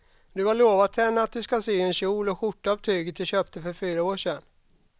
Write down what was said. Du har lovat henne att du ska sy en kjol och skjorta av tyget du köpte för fyra år sedan.